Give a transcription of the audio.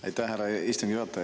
Aitäh, härra istungi juhataja!